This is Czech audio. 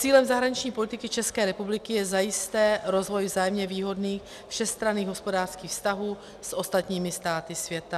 Cílem zahraniční politiky České republiky je zajisté rozvoj vzájemně výhodných všestranných hospodářských vztahů s ostatními státy světa.